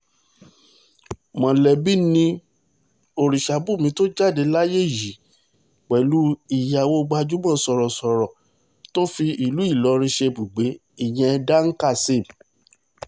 mọ̀lẹ́bí ni ọ̀rìṣàbùnmí tó jáde láyé yìí pẹ̀lú ìyàwó gbajúmọ̀ sọ̀rọ̀sọ̀rọ̀ tó fi ìlú ìlọrin ṣe ibùgbé ìyẹn dan kazeem